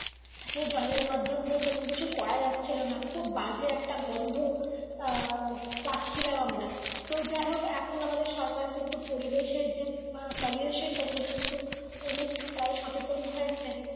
এই জলের মাধ্যম দিয়ে কোনো কিছু করা যাচ্ছিলো না খুব বাজে একটা গন্ধ আঃ পাচ্ছিলাম আমার তো যাইহোক এখন আমাদের সরকার কিন্তু পরিবেশএর যে pollution টা নিয়ে কিন্তু অনেক টাই সচেতন হয়েছে